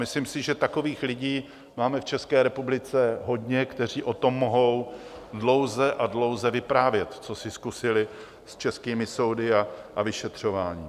Myslím si, že takových lidí máme v České republice hodně, kteří o tom mohou dlouze a dlouze vyprávět, co si zkusili s českými soudy a vyšetřováním.